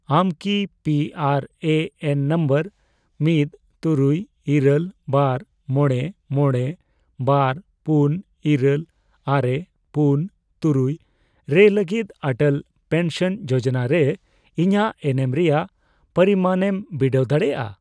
ᱟᱢ ᱠᱤ P R A N number ᱢᱤᱫ, ᱛᱩᱨᱩᱭ, ᱤᱨᱟᱹᱞ ,ᱵᱟᱨ, ᱢᱚᱬᱮ, ᱢᱚᱬᱮ, ᱵᱟᱨ, ᱯᱩᱱ ᱤᱨᱟᱹᱞ, ᱟᱨᱮ, ᱯᱩᱱ, ᱛᱩᱨᱩᱭ ᱨᱮ ᱞᱟᱹᱜᱤᱫ ᱚᱴᱚᱞ ᱯᱮᱱᱥᱚᱱ ᱡᱳᱡᱚᱱᱟ ᱨᱮ ᱤᱧᱟᱜ ᱮᱱᱮᱢ ᱨᱮᱭᱟᱜ ᱯᱚᱨᱤᱢᱟᱱᱮᱢ ᱵᱤᱰᱟᱹᱣ ᱫᱟᱲᱮᱭᱟᱜᱼᱟ ?